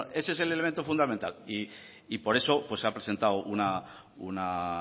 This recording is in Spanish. bueno ese es el elemento fundamental y por eso se ha presentado una